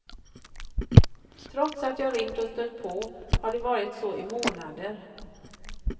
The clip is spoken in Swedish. Trots att jag ringt och stött på har det varit så i månader.